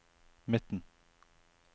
midten